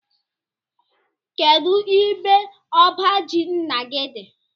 Kedụ ebe ọbá jị ńnà gị dị?